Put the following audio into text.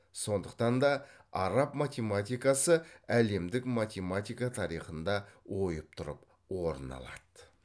сондықтан да араб математикасы әлемдік математика тарихында ойып тұрып орын алады